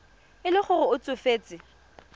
e le gore o tsofetse